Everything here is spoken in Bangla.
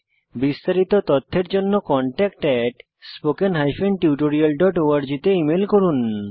বিস্তারিত তথ্যের জন্য contactspoken tutorialorg তে ইমেল করুন